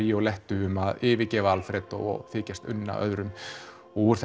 Violettu um að yfirgefa Alfredo og þykjast unna öðrum og úr